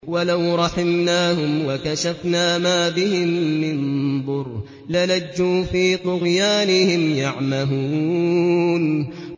۞ وَلَوْ رَحِمْنَاهُمْ وَكَشَفْنَا مَا بِهِم مِّن ضُرٍّ لَّلَجُّوا فِي طُغْيَانِهِمْ يَعْمَهُونَ